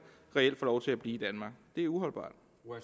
reelt får lov til at blive i danmark det er uholdbart